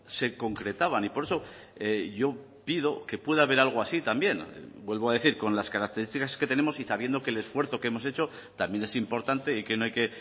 se concretaban y por eso yo pido que pueda haber algo así también vuelvo a decir con las características que tenemos y sabiendo que el esfuerzo que hemos hecho también es importante y que no hay que